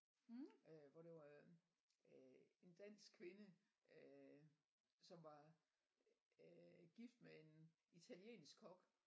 Øh hvor det var æh en dansk kvinde som var æh gift med en italiensk kok